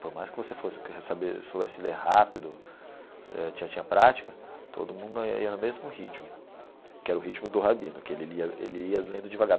Por mais que você fosse soubesse ler rápido, já tinha prática, todo mundo ia no mesmo ritmo, que era o ritmo do Rabino, que ele lia ele ia lendo devagar.